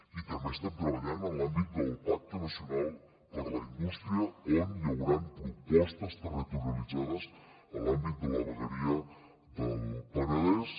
i també estem treballant en l’àmbit del pacte nacional per a la indústria on hi hauran propostes territorialitzades a l’àmbit de la vegueria del penedès